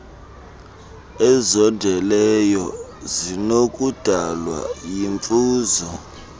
ezondeleyo zinokudalwa yimfuzo